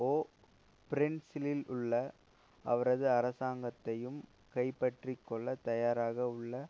ஓ பிரின்சிலுள்ள அவரது அரசாங்கத்தையும் கைப்பற்றிக்கொள்ள தயாராக உள்ள